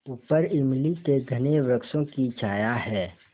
ऊपर इमली के घने वृक्षों की छाया है